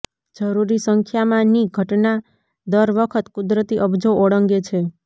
જરૂરી સંખ્યામાં ની ઘટના દર વખત કુદરતી અબજો ઓળંગે છે